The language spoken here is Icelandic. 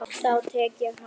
Þá tek ég hann!